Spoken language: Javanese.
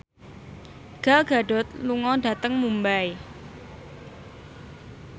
Gal Gadot lunga dhateng Mumbai